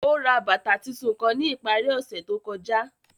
Ó rá bátà títúún kán ní ipàrí òṣè tó kọjà